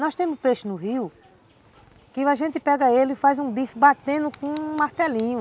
Nós temos peixe no rio, que a gente pega ele e faz um bife batendo com um martelinho.